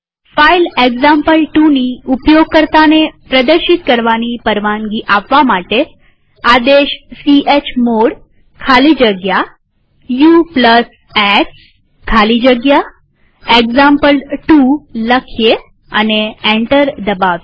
file example2ની ઉપયોગકર્તાને પ્રદર્શિત કરવાની પરવાનગી આપવા માટે આદેશ ચમોડ ખાલી જગ્યા ux ખાલી જગ્યા એક્ઝામ્પલ2 લખીએ અને એન્ટર દબાવીએ